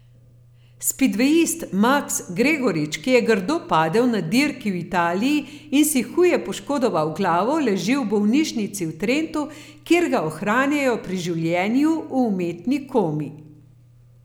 Spidvejist Maks Gregorič, ki je grdo padel na dirki v Italiji in si huje poškodoval glavo, leži v bolnišnici v Trentu, kjer ga ohranjajo pri življenju v umetni komi.